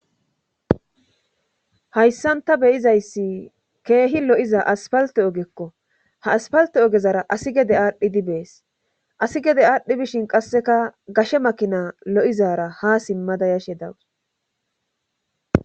Hayssanta beyizayssi keehi lo'iza aspalte ogekko ha aspalte ogezara asi gede aadhdhi di bees asi gede aadhdhi bishin qasseka gashe makina lo'izara ha simmada yashe dawus.